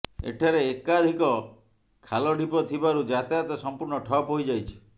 ଏଠାରେ ଏକାଧିକ ଖାଲ ଢିପ ଥିବାରୁ ଯାତାୟତ ସମ୍ପୂର୍ଣ୍ଣ ଠପ୍ ହୋଇଯାଇଛି